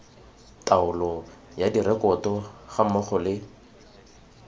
taolo ya direkoto gammogo le